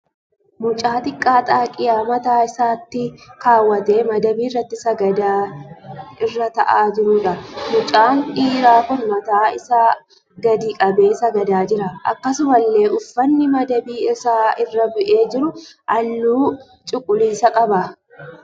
Mucaa xiqqaa xaagiyaa mataa isaatti kaawwatee madabii irratti sagadan irra ta'aa jiruudha. Mucaan dhiiraa kun mataa isaa gadii qabee sagadaa jira. Akkasumallee uffanni madabii isaa irra bu'ee jiru halluu cuquliisaa qaba.